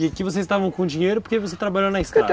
E aqui vocês estavam com dinheiro porque você trabalhou na estrada?